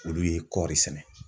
Olu ye kɔɔri sɛnɛ.